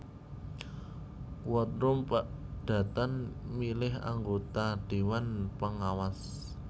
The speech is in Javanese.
Quorum padatan milih anggota déwan pengawas